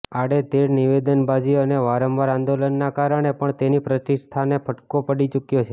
આડેધડ નિવેદનબાજી અને વારંવાર આંદોલનના કારણે પણ તેની પ્રતિષ્ઠાને ફટકો પડી ચુક્યો છે